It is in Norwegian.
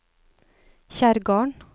Kjerrgarden